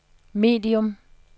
medium